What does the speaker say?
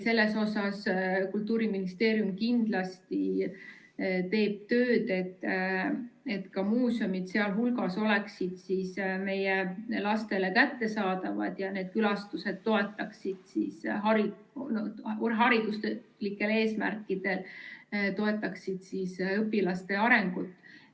Selles osas Kultuuriministeerium kindlasti teeb tööd, et ka muuseumid oleksid seal hulgas meie lastele kättesaadavad ja need külastused toetaksid hariduslikel eesmärkidel õpilaste arengut.